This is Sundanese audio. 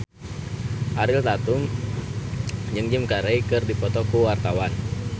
Ariel Tatum jeung Jim Carey keur dipoto ku wartawan